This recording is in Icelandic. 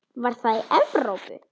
Var það í Evrópu?